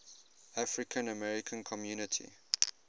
african american community